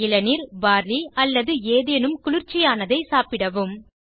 இளநீர் பார்லி அல்லது ஏதேனும் குளிர்ச்சியானதை சாப்பிடவும்